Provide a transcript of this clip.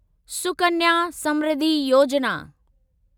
Sukanya Samriddhi Yojana